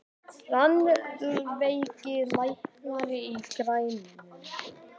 Rannveig, lækkaðu í græjunum.